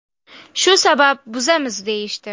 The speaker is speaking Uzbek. Shu sabab buzamiz, deyishdi.